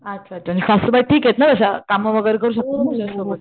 अच्छा अच्छा सासूबाई ठीक आहेत ना तशा कामं वगैरे करू शकतात ना?